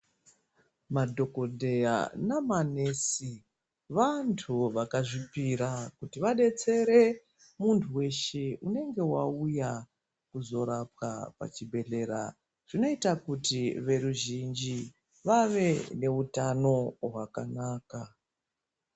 Madhokodheya namanesi vantu vakazvipira kuti vadetsere munhu weshe unenge wauya pachibhehlera zvinoita kuti veruzhinji vave neutano hwakanaka.